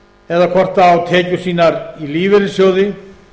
eða hvort það á tekjur sínar í lífeyrissjóði